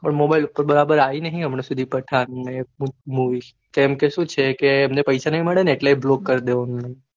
પણ mobile પર બરાબર આય નહિ હમણાં સુધી પઠાણ ને એ movie કેમ ક સુ છે એમને પૈસા ના મળે ને એટલે block કરી દે